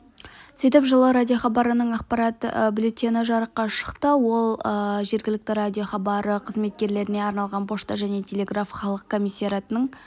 сөйтіп жылы радиохабарының ақпарат бюллетені жарыққа шықты ол жергілікті радиохабары қызметкерлеріне арналған пошта және телеграф халық комиссариатының